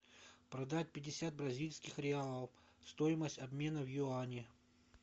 продать пятьдесят бразильских реалов стоимость обмена в юани